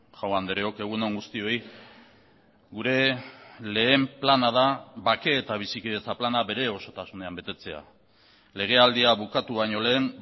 jaun andreok egun on guztioi gure lehen plana da bake eta bizikidetza plana bere osotasunean betetzea legealdia bukatu baino lehen